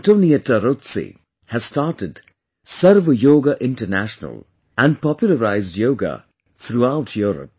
AntoniettaRozzi, has started "Sarv Yoga International," and popularized Yoga throughout Europe